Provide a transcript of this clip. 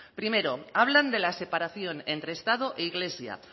primero hablan de la separación entre estado e iglesia